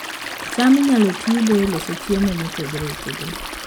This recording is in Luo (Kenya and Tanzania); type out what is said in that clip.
cham inyalo tigo e loso chiemo mopogore opogore